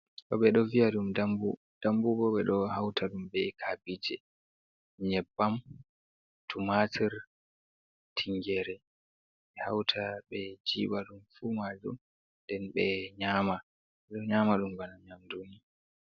Ɗo ɓe ɗo viya ɗum "dambu" dambu bo ɓeɗo hauta ɗum be kabije, nyebbam, tumatir, tingere, ɓe hauta ɓe jiɓa ɗum fu majum nden ɓe nyama ɗum bana nyamduni.